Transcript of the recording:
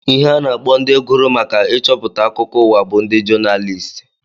Ihe a na-akpọ ndị gụrụ maka ịchọpụta akụkọ ụwa bụ ndị Jonalịst